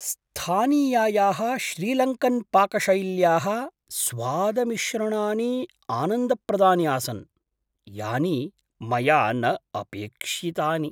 स्थानीयायाः श्रीलङ्कन्पाकशैल्याः स्वादमिश्रणानि आनन्दप्रदानि आसन्, यानि मया न अपेक्ष्यितानि।